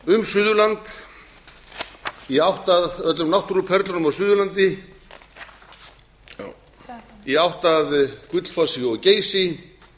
um suðurland í átt að öllum náttúruperlunum á suðurlandi í átt að gullfossi og geysi